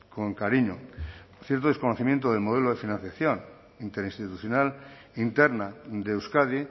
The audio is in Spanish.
con cariño cierto desconocimiento del modelo de financiación interinstitucional interna de euskadi